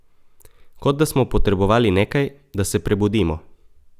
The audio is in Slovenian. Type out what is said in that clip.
Kot da smo potrebovali nekaj, da se prebudimo.